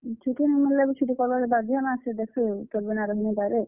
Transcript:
ଛୁଟି ନି ମିଲ୍ ଲେ ବି ଛୁଟି କର୍ ବାର୍ କେ ବାଧ୍ୟ ନା ସେ ଦେଖ୍ ସୁ ତୋର୍ ବିନା ରହି ନି ପାରେ।